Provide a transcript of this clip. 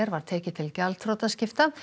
var tekið til gjaldþrotaskipta